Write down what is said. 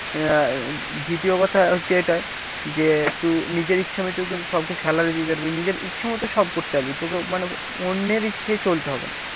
আহ দ্বিতীয় কথা হচ্ছে এটাই যে তুই নিজের ইচ্ছামত কিন্তু সবকে salary দিতে পারবি, নিজের ইচ্ছামত সব করতে পারবি তোকে মানে অন্যের ইচ্ছায় চলতে হবে না।